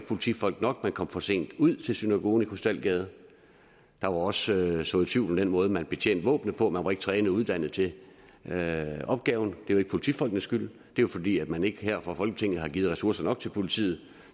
politifolk nok at man kom for sent ud til synagogen i krystalgade der er også sået tvivl om den måde man betjente våbnene på man var ikke trænet og uddannet til opgaven det var ikke politifolkenes skyld det er fordi man ikke her fra folketingets side har givet ressourcer nok til politiet